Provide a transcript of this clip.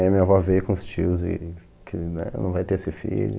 Aí minha avó veio com os tios e... que é, não vai ter esse filho.